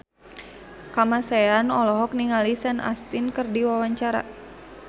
Kamasean olohok ningali Sean Astin keur diwawancara